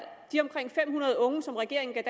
de omkring fem hundrede unge som regeringen